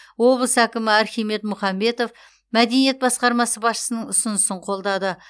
облыс әкімі архимед мұхамбетов мәдениет басқармасы басшысының ұсынысын қолдады